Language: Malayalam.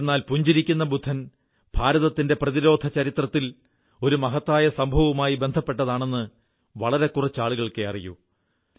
എന്നാൽ പുഞ്ചിരിക്കുന്ന ബുദ്ധൻ ഭാരതത്തിന്റെ പ്രതിരോധ ചരിത്രത്തിൽ ഒരു മഹത്തായ സംഭവവുമായി ബന്ധപ്പെട്ടതാണെന്ന് വളരെകുറച്ച് ആളുകൾക്കേ അറിയൂ